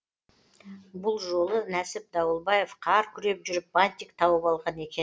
бұл жолы нәсіп дауылбаев қар күреп жүріп бантик тауып алған